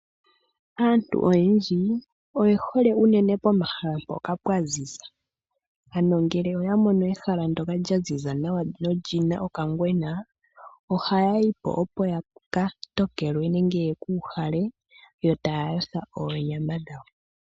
Aantu oyendji oye hole unene pomahala mpoka pwaziza ngele oya mono ehala ndyoka lya ziza nawa nolyina okangwena ohaya yipo opo yaka tokelwe nenge yeku uhale yo taya yotha oonyama dhawo.